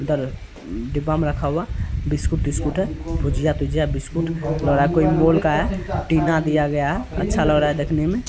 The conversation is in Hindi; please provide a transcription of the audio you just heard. अंदर डिब्बा मे रखा हुआ बिस्कुट -तिस्कुट है भुजया-तुज्या बिस्कुट आपको टीना दिया गया हैअच्छा लग रहा है देखने में --